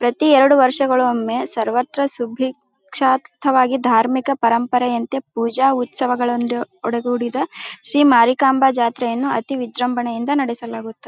ಪ್ರತಿ ಎರಡು ವರ್ಷಗಳಿಗೊಮ್ಮೆ ಸರ್ವತ್ರ ಸಿದ್ದಿ ಕ್ಷಾತ್ರವಾಗಿ ಧಾರ್ಮಿಕ ಪರಂಪರೆಯಂತೆ ಪೂಜೆ ಉತ್ಸವಗಳನ್ನು ಒಳಗೂಡಿದ ಶ್ರೀ ಮಾರಿಕಾಂಬಾ ಜಾತ್ರೆಯನ್ನು ಅತಿ ವಿಜೃಂಭಣೆಯಿಂದ ನಡೆಸಲಾಗುತ್ತದೆ.